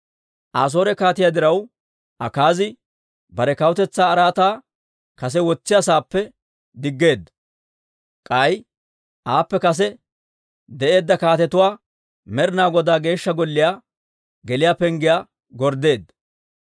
Asoore kaatiyaa diraw, Akaazi bare kawutetsaa araataa kase wotsiyaa saappe diggeedda. K'ay aappe kase de'eedda kaatetuwaa Med'ina Godaa Geeshsha Golliyaa geliyaa penggiyaa gorddeedda.